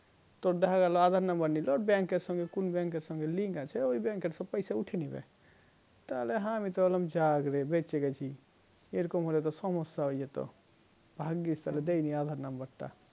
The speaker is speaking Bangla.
তো দেখা গেল aadhar number নিলো bank এর সঙ্গে কোন bank সঙ্গে link আছে এই bank পয়সা উঠিয়ে নিবে তো আমি তো বললাম যা বেঁচে গেছি এই রকম হলে সমস্যা হয়ে যেত ভাগ্গিস দেয়নি aadhar number টা